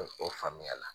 O faamuya la